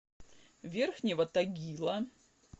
верхнего тагила